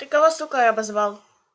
ты кого сукой обозвал